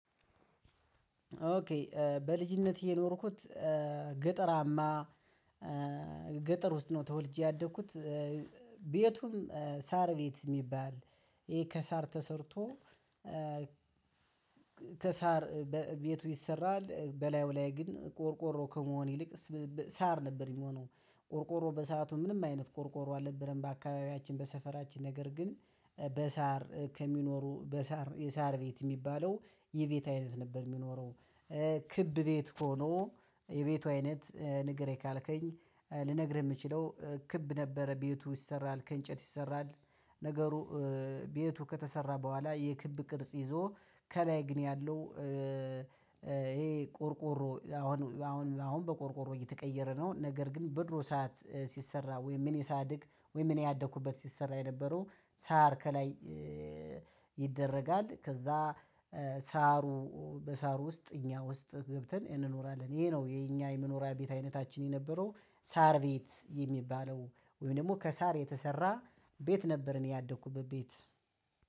እሺ በልጅነት የኖርኩት ገጠራማ ገጠር ውስጥ ነው። ተወልጄ ያደግኩት ቤቱም ሳር ቤት የሚባል ይሄ ከሳር ተሰርቶ። ከሳር ቤቱ ይሰራል በላዩ ላይ ግን ቆርቆሮ ከመሆን ይልቅ ሳር ነበር የሚሆነው። ቆርቆሮ በሰአቱ ምንም አይነት ቆርቆሮ አልነበረም በአካባቢያችን በሰፈራችን ነገር ግን በሳር ከሚኖሩ በሳር የሳር ቤት የሚባለው የቤት አይነት ነበር የሚኖረው። ክብ ቤት ሆኖ የቤቱ አይነት ንገረኝ ካልከኝ ልነግርህ የምችለው ክብ ነበረ ቤቱ ይሰራል ከእንጨት ይሰራል። ነገሩ ቤቱ ከተሰራ በኋላ የክብ ቅርጽ ይዞ ከላይ ግን ያለው። ይሄ ቆርቆሮ አሁን አሁን አሁን በቆርቆሮ እየተቀየረ ነው። ነገር ግን በድሮ ሰዓት ሲሰራ ወይም እኔ ሳድግ ወይ እኔ ያደኩበት ሲሰራ የነበረው ሳር ከላይ። ይደረጋል ከዛ ሳሩ በሳሩ ውስጥ እኛ ውስጥ ገብተን እንኖራለን ይሄ ነው የኛ የመኖሪያ ቤት አይነታችን የነበረው። ሳር ቤት የሚባለው ወይም ደግሞ ከሳር የተሰራ ቤት ነበር። እኔ ያደኩበት ቤት